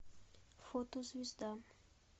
фото звезда